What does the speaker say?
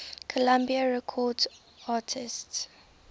columbia records artists